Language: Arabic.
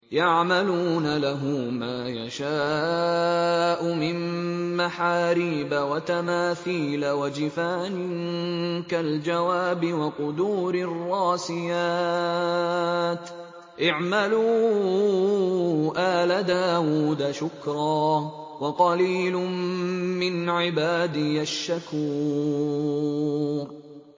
يَعْمَلُونَ لَهُ مَا يَشَاءُ مِن مَّحَارِيبَ وَتَمَاثِيلَ وَجِفَانٍ كَالْجَوَابِ وَقُدُورٍ رَّاسِيَاتٍ ۚ اعْمَلُوا آلَ دَاوُودَ شُكْرًا ۚ وَقَلِيلٌ مِّنْ عِبَادِيَ الشَّكُورُ